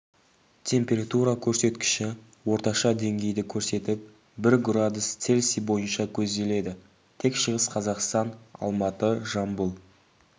температура көрсеткіші орташа деңгейді көрсетіп бір градус цельсий бойынша көзделеді тек шығыс қазақстан алматы жамбыл